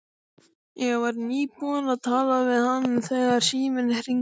Ég var nýbúin að tala við hann þegar síminn hringdi.